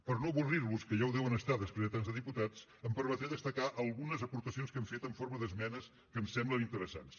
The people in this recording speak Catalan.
per no avorrir los que ja ho deuen estar després de tants de diputats em permetré destacar algunes aportacions que hem fet en forma d’esmenes que ens semblen interessants